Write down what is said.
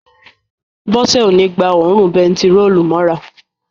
Bọ́sẹ̀ ó ní gba òórùn bentiróòlù mọ́ra